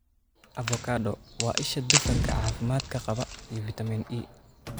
Avocado: Waa isha dufanka caafimaadka qaba iyo fitamiin E.